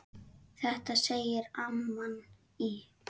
Þetta segir amman í